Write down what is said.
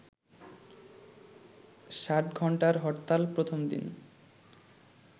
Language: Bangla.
ষাটঘন্টার হরতালের প্রথম দিন